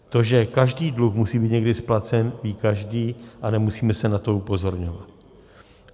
To, že každý dluh musí být někdy splacen, ví každý a nemusíme se na to upozorňovat.